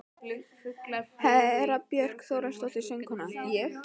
Hera Björk Þórhallsdóttir, söngkona: Ég?